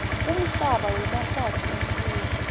kumhlaba wemahlatsi embuso